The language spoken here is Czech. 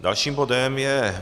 Dalším bodem je